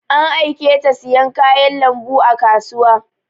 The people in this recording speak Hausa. An aiketa siyan kayan lambu a kasuwa